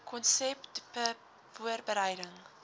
konsep dbip voorbereiding